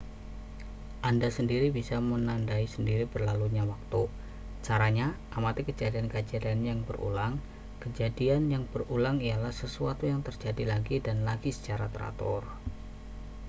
anda sendiri bisa menandai sendiri berlalunya waktu caranya amati kejadian-kejadian yang berulang kejadian yang berulang ialah sesuatu yang terjadi lagi dan lagi secara teratur